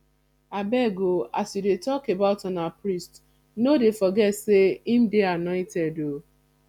abeg oo as you dey talk about una priest no dey forget say im dey annointed oo